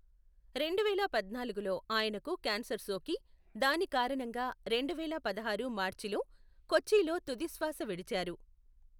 రెండువేల పద్నాలుగులో ఆయనకు క్యాన్సర్ సోకి, దాని కారణంగా రెండువేల పదహారు మార్చిలో కొచ్చిలో తుదిశ్వాస విడిచారు.